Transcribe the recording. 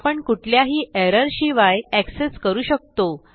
आपण कुठल्याही एरर शिवाय एक्सेस करू शकतो